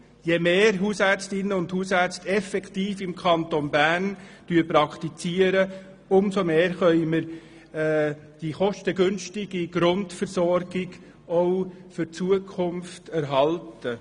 Je mehr Hausärztinnen und Hausärzte im Kanton Bern praktizieren, umso mehr können wir die kostengünstige Grundversorgung auch zukünftig erhalten.